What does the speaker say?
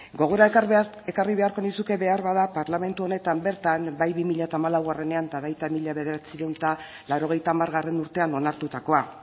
gogora ekarri beharko nizuke behar bada parlamentu honetan bertan bai bi mila hamalaunean eta baita mila bederatziehun eta laurogeita hamargarrena urtean onartutakoa